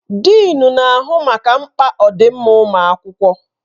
Dịịn na-ahụ maka mkpa ọdịmma ụmụ akwụkwọ.